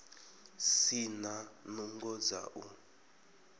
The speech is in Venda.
si na nungo dza u